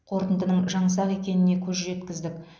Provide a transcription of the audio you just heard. қорытындының жаңсақ екеніне көз жеткіздік